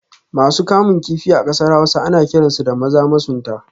Masu kamun kifi a kasar Hausa ana kiransu da Maza masunta